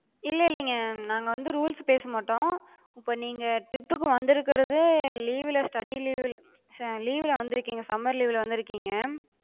இல்ல இல்லிங்க, நாங்க வந்து rules பேசமாட்டோ. இப்ப நீங்க trip புக்கு வந்துருக்குறது leave ல study leave ல leave ல வந்திருக்கிங்க summer leave ல வந்திருக்கிங்க.